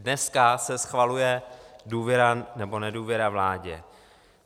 Dneska se schvaluje důvěra nebo nedůvěra vládě.